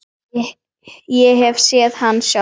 Ég hef séð hann sjálf!